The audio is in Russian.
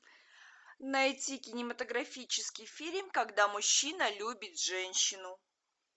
найти кинематографический фильм когда мужчина любит женщину